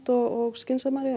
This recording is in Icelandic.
og skynsamari